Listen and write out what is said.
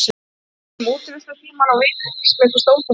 Við rífumst um útivistartímann og vini hennar sem mér finnst óþolandi.